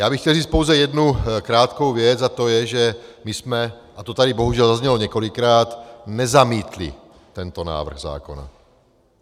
Já bych chtěl říci pouze jednu krátkou věc, a to je, že my jsme - a to tady bohužel zaznělo několikrát - nezamítli tento návrh zákona.